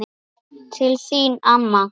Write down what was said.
Til þín amma.